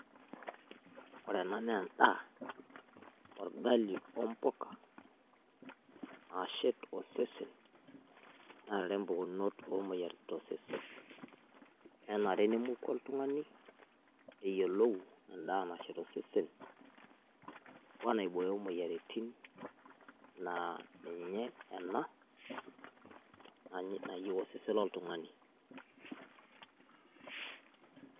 Ore ena naa endaa ogali o mbukaa laasheet osesen na mbukunoot o moyaratin te sesen. Enaree nemooku oltung'ani eyelou endaa nasheet osesen o naibooyo moyaritin naa ninye ena naiyeu osesen oltung'ani.